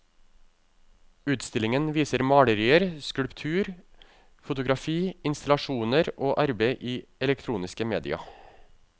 Utstillingen viser malerier, skulptur, fotografi, installasjoner og arbeid i elektroniske media.